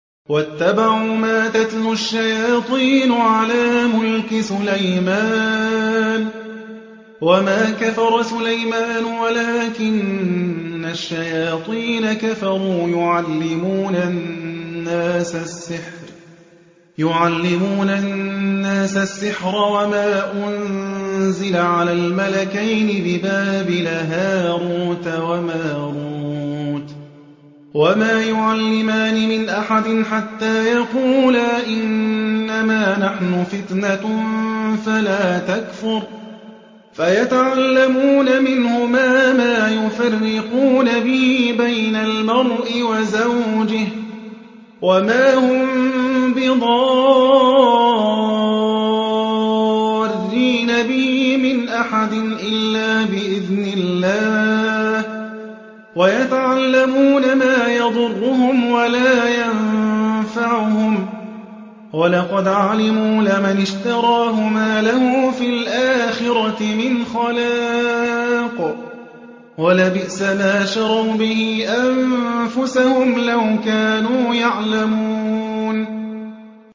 وَاتَّبَعُوا مَا تَتْلُو الشَّيَاطِينُ عَلَىٰ مُلْكِ سُلَيْمَانَ ۖ وَمَا كَفَرَ سُلَيْمَانُ وَلَٰكِنَّ الشَّيَاطِينَ كَفَرُوا يُعَلِّمُونَ النَّاسَ السِّحْرَ وَمَا أُنزِلَ عَلَى الْمَلَكَيْنِ بِبَابِلَ هَارُوتَ وَمَارُوتَ ۚ وَمَا يُعَلِّمَانِ مِنْ أَحَدٍ حَتَّىٰ يَقُولَا إِنَّمَا نَحْنُ فِتْنَةٌ فَلَا تَكْفُرْ ۖ فَيَتَعَلَّمُونَ مِنْهُمَا مَا يُفَرِّقُونَ بِهِ بَيْنَ الْمَرْءِ وَزَوْجِهِ ۚ وَمَا هُم بِضَارِّينَ بِهِ مِنْ أَحَدٍ إِلَّا بِإِذْنِ اللَّهِ ۚ وَيَتَعَلَّمُونَ مَا يَضُرُّهُمْ وَلَا يَنفَعُهُمْ ۚ وَلَقَدْ عَلِمُوا لَمَنِ اشْتَرَاهُ مَا لَهُ فِي الْآخِرَةِ مِنْ خَلَاقٍ ۚ وَلَبِئْسَ مَا شَرَوْا بِهِ أَنفُسَهُمْ ۚ لَوْ كَانُوا يَعْلَمُونَ